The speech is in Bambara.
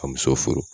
Ka muso furu